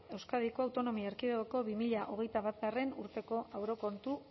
euskadiko autonomia erkidegoko bi mila hogeita batgarrena urteko aurrekontu